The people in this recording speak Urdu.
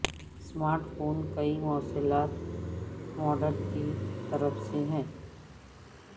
اسمارٹ فون کئی مواصلات ماڈیول کی طرف سے ہے